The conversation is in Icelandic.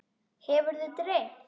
Hefur þig dreymt?